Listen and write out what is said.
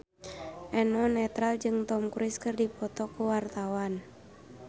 Eno Netral jeung Tom Cruise keur dipoto ku wartawan